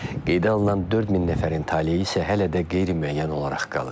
Qeydə alınan 4000 nəfərin taleyi isə hələ də qeyri-müəyyən olaraq qalır.